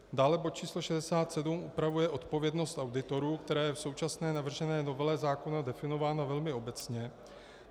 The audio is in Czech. Dále bod číslo 67 upravuje odpovědnost auditorů, která je v současné navržené novele zákona definována velmi obecně.